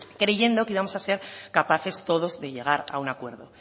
creyendo que íbamos a ser capaces todos de llegar a un acuerdo